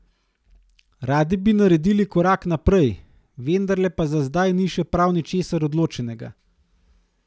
Radi bi naredili korak naprej, vendarle pa za zdaj ni še prav ničesar odločenega.